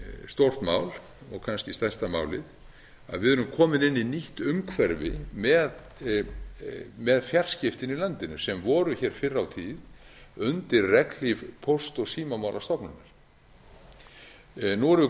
stórt mál og kannski stærsta málið við erum komin inn í nýtt umhverfi með fjarskiptin í landinu sem vor hér fyrr á tíð undir regnhlíf póst og símamálastofnunar nú erum við